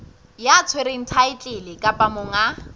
ya tshwereng thaetlele kapa monga